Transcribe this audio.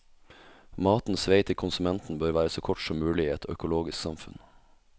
Matens vei til konsumenten bør være så kort som mulig i et økologisk samfunn.